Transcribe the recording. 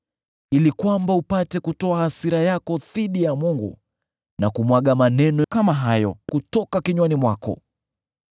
ili kwamba upate kutoa hasira yako dhidi ya Mungu, na kumwaga maneno kama hayo kutoka kinywani mwako?